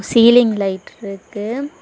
Feeling light இருக்கு.